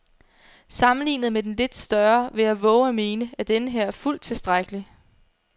Sammenlignet med den lidt større vil jeg vove at mene, at denneher er fuldt tilstrækkelig.